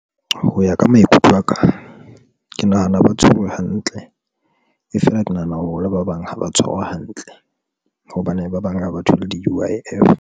Ho ya ka maikutlo aka ke nahana ha ba tshwerwe hantle e fela ke nahana hore le ba bang ha ba tshwarwa hantle hobane ba bang ha ba thole di-U_I_F.